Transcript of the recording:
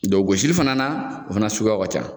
gosili fana o fana suguyaw ka ca.